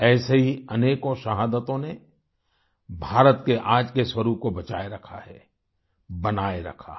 ऐसी ही अनेकों शहादतों ने भारत के आज के स्वरूप को बचाए रखा है बनाए रखा है